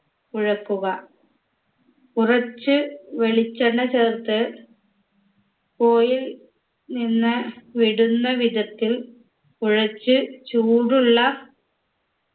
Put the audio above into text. കുഴക്കുക കുറച്ച് വെളിച്ചെണ്ണ ചേർത്ത് കോലിൽ നിന്ന് വിടുന്ന വിധത്തിൽ കുഴച്ച് ചൂടുള്ള